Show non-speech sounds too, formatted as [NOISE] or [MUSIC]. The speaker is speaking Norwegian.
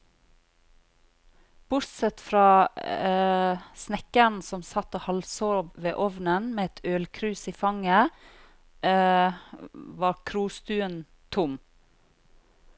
Bortsett fra [HESITATION] snekkeren som satt og halvsov ved ovnen med et ølkrus i fanget, [HESITATION] var krostuen tom.